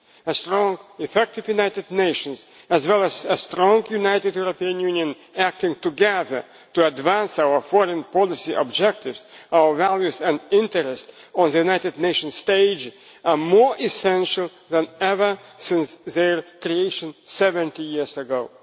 A strong, effective United Nations, as well as a strong, united European Union acting together to advance our foreign policy objectives, values and interests on the United Nations stage, are more essential than ever since its creation 70 years ago.